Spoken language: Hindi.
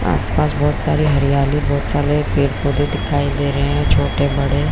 आसपास बहुत सारी हरियाली बहुत सारे पेड़ - पौधे दिखाई दे रहै है छोटे - बड़े --